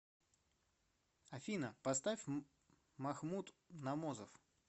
афина поставь махмуд номозов